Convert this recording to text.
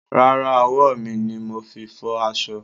Rárá, ọwọ́ mi ni mo fi fọ aṣọ.